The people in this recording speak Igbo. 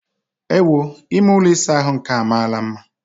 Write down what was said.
Ewoo! Ime ụlọ ịsa ahụ nke a amaala mma!